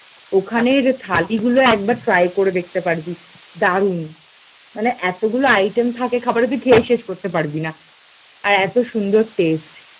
ওখানের থালি গুলো একবার ট্রাই করে দেখতে পারবি দারুণ, মানে এতগুলো আইটেম থাকে খাবারের তুই খেয়ে শেষ করতে পারবি না আর এত সুন্দর টেস্ট